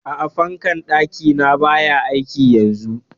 A'a, fankar ɗaki na baya aiki yanzun?